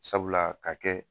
Sabula ka kɛ